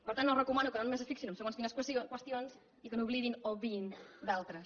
per tant els recomano que no només es fixin en segons quines qüestions i que n’oblidin o n’obviïn d’altres